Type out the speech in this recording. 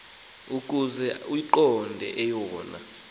ukuze uyiqonde eyona